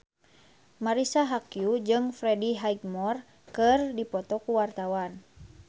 Marisa Haque jeung Freddie Highmore keur dipoto ku wartawan